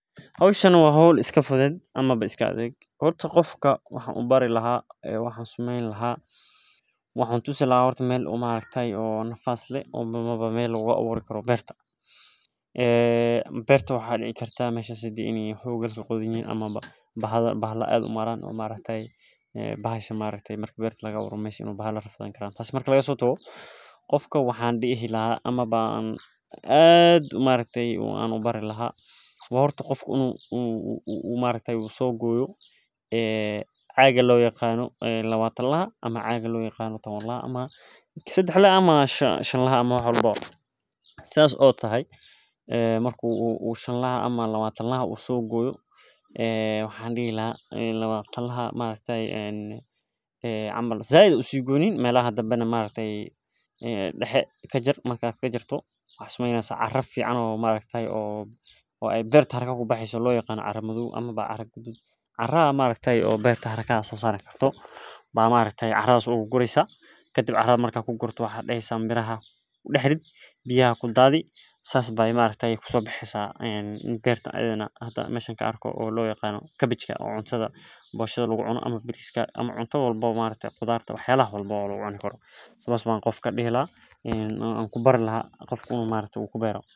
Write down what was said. Hoshan waa horta qofka waxan u bari laha horta waxan tusini laha meel lagu aburo marki laga sotago horta qofka in u sogoyo caga shan laha ama lawatan laha said hausi goynin caradas oo beertas hraka sosareysa in ee barta an mesha ka arko sidhas ayan qofka dihi laha in u kubeero.